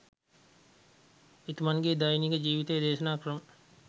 එතුමන් ගේ දෛනික ජීවිතය දේශනා ක්‍රම